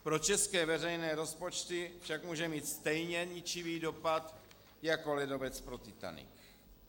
Pro české veřejné rozpočty však může mít stejně ničivý dopad jako ledovec pro Titanic.